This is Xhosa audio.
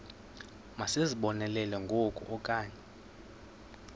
masizibonelele ngoku okanye